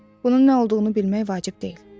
Bunun nə olduğunu bilmək vacib deyil.